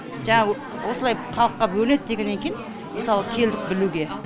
жаңағы осылай халыққа бөлінеді дегеннен кейін мысалы келдік білуге